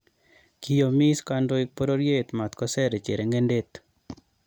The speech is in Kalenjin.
Kiyomis kandoik pororyet matkoser chereng'endet